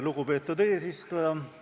Lugupeetud eesistuja!